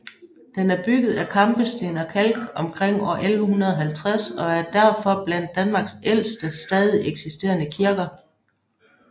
Den er bygget af kampesten og kalk omkring år 1150 og er derfor blandt Danmarks ældste stadigt eksisterende kirker